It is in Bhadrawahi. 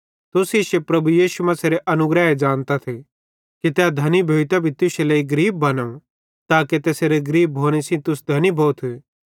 तुस इश्शे प्रभु यीशु मसीहेरे अनुग्रह ज़ानतथ कि तै धनी भोइतां भी तुश्शे लेइ गरीब बनो ताके तैसेरे गरीब भोने सेइं तुस धनी भोथ